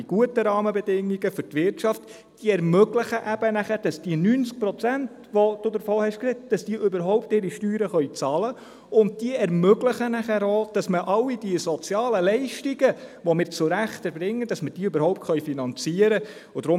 Die guten Rahmenbedingungen für die Wirtschaft ermöglich nachher, dass die 90 Prozent, von denen Sie gesprochen haben, überhaupt ihre Steuern bezahlen können, und diese ermöglichen nachher auch, dass alle die sozialen Leistungen, die wir zu Recht erbringen, dass wir diese überhaupt finanzieren können.